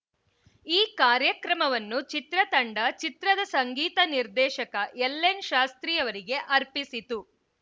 ಈ ಕಾರ್ಯಕ್ರಮವನ್ನು ಚಿತ್ರತಂಡ ಚಿತ್ರದ ಸಂಗೀತ ನಿರ್ದೇಶಕ ಎಲ್‌ಎನ್‌ ಶಾಸ್ತ್ರಿಯವರಿಗೆ ಅರ್ಪಿಸಿತು